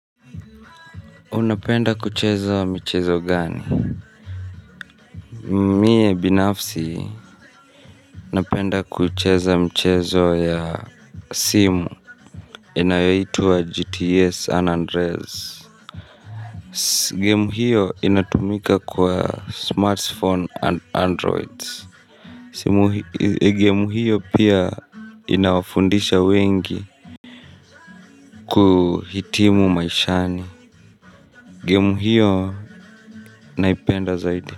Unapenda kucheza mchezo gani mie binafsi unapenda kucheza mchezo ya simu inayaitwa gts anandrez game hiyo inatumika kwa smartphone and android game hiyo pia inawafundisha wengi kuhitimu maishani game hiyo naipenda zaidi.